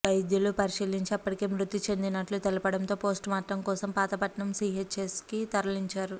వైద్యులు పరిశీలించి అప్పటికే మృతి చెందినట్లు తెలపడంతో పోస్టుమార్టం కోసం పాతపట్నం సీహెచ్సీకి తరలించారు